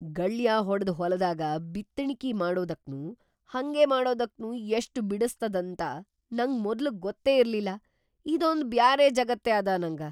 ಗಳ್ಯಾ ಹೊಡದ್‌ ಹೊಲದಾಗ ಬಿತ್ತಣಿಕಿ ಮಾಡದಕ್ನೂ ಹಂಗೇ ಮಾಡದಕ್ನೂ ಎಷ್ಟ್ ಬಿಡಸ್ತದಂತ ನಂಗ್ ಮೊದ್ಲ್ ಗೊತ್ತೇ ಇರ್ಲಿಲ್ಲಾ. ಇದೊಂದ್‌ ಬ್ಯಾರೆ ಜಗತ್ತೇ ಅದ ನಂಗ!